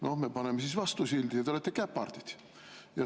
No me paneme siis vastu sildi, et te olete käpardid.